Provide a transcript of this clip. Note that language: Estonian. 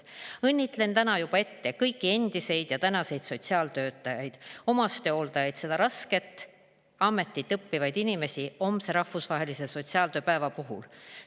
Õnnitlen täna juba ette kõiki endiseid ja praeguseid sotsiaaltöötajaid, omastehooldajaid ja seda rasket ametit õppivaid inimesi homse rahvusvahelise sotsiaaltööpäeva puhul.